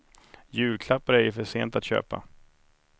Julklappar är ju för sent att köpa.